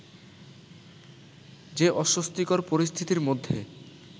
যে অস্বস্তিকর পরিস্থিতির মধ্যে